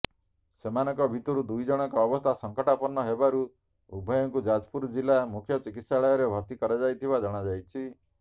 ସେମାନଙ୍କ ଭିତରୁ ଦୁଇଜଣଙ୍କ ଅବସ୍ଥା ସଂକଟାପନ୍ନ ହେବାରୁ ଉଭୟଙ୍କୁ ଯାଜପୁର ଜିଲ୍ଲା ମୁଖ୍ୟ ଚିକିତ୍ସାଳୟରେ ଭର୍ତ୍ତି କରାଯାଇଥିବା ଜଣାଯାଇଛି